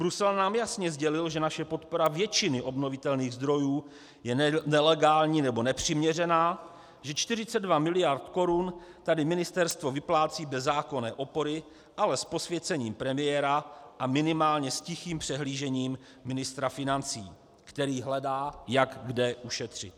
Brusel nám jasně sdělil, že naše podpora většiny obnovitelných zdrojů je nelegální nebo nepřiměřená, že 42 mld. korun tady ministerstvo vyplácí bez zákonné opory, ale s posvěcením premiéra a minimálně s tichým přihlížením ministra financí, který hledá, jak kde ušetřit.